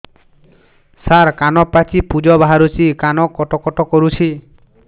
ସାର କାନ ପାଚି ପୂଜ ବାହାରୁଛି କାନ କଟ କଟ କରୁଛି